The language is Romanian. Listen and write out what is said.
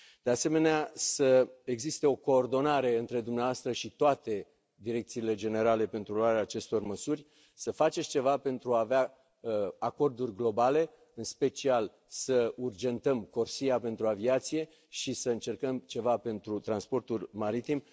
De asemenea, să existe o coordonare între dumneavoastră și toate direcțiile generale pentru luarea acestor măsuri, să faceți ceva pentru a avea acorduri globale, în special să urgentăm CORSIA pentru aviație și să încercăm ceva pentru transportul maritim.